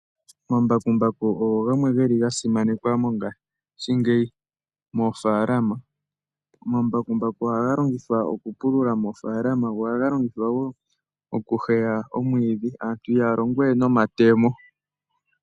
Omambakumbaku ogo geli gamwe ga simanekwa mongashingeyi moofalama. Omambakumbaku ohaga longithwa okupulula moofalama. Omambakumbaku ohaga longithwa wo okuheya omwiidhi. Aantu haya longo we nomatemo.